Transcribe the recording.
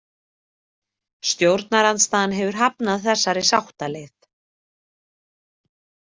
Stjórnarandstaðan hefur hafnað þessari sáttaleið.